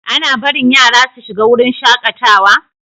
Ana barin yara su shiga wurin shakatawa?